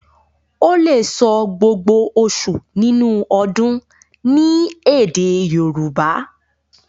o lẹ sọ gbógbó oṣù nínú ọdún ní èdè Yorùbá.